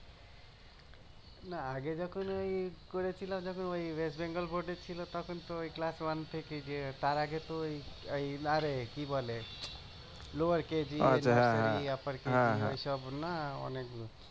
না আগে যখন ওই করেছিলাম যখন ওই ওয়েস্ট বেঙ্গল বোর্ডে ছিল তখন তো ওই তার আগে তো ওই আরে কি বলে কেজি কেজি ওইসব না অনেক